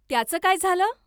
त्याचं काय झालं?